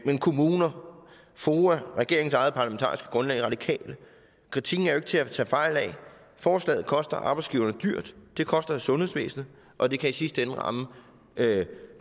til kommuner foa regeringens eget parlamentariske grundlag radikale kritikken er jo ikke til at tage fejl af forslaget koster arbejdsgiverne dyrt det koster i sundhedsvæsenet og det kan i sidste ende ramme